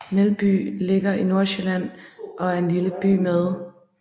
Melby ligger i Nordsjælland og er en lille by med